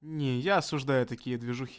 я осуждаю такие движухи